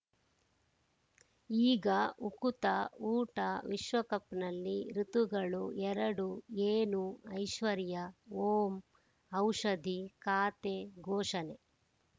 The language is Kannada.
ಈಗ ಉಕುತ ಊಟ ವಿಶ್ವಕಪ್‌ನಲ್ಲಿ ಋತುಗಳು ಎರಡು ಏನು ಐಶ್ವರ್ಯಾ ಓಂ ಔಷಧಿ ಖಾತೆ ಘೋಷಣೆ